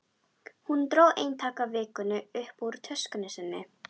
Hún dró eintak af Vikunni upp úr töskunni sinni.